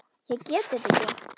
Ég get þetta ekki.